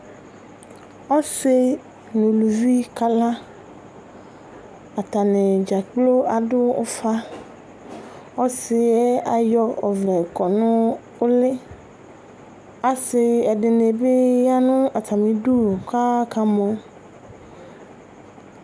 Ɔsi n'uluvɩ kala, atani dzakplo adu ufa, ɔsi yɛ ayɔ ɔʋlɛ kɔ nu ulɩ Asi ɛdini bi ya nu atami 'du k'aka mɔ